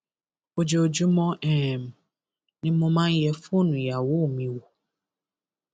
ojoojúmọ um ni mo máa ń yẹ fóònù ìyàwó mi wò